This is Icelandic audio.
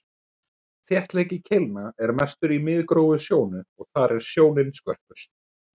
þéttleiki keilna er mestur í miðgróf sjónu og þar er sjónin skörpust